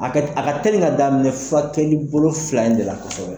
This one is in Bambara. A ka telin ka daminɛ furakɛli bolo fila in de la kɔsɔbɛ.